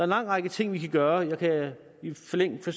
lang række ting vi kan gøre jeg kan i flæng